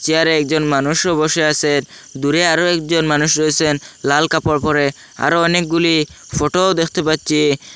চেয়ারে একজন মানুষও বসে আছে দূরে আরো একজন মানুষ রয়েছেন লাল কাপড় পড়ে আরো অনেকগুলি ফোটোও দেখতে পাচ্ছি।